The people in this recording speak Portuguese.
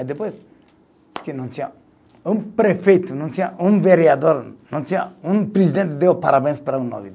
Aí depois, disse que não tinha um prefeito, não tinha um vereador, não tinha um presidente deu parabéns para